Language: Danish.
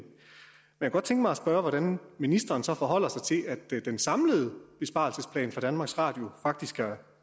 jeg kunne godt tænke mig at spørge hvordan ministeren så forholder sig til at den samlede besparelsesplan for danmarks radio faktisk